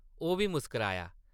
ओह् बी मुस्काराया ।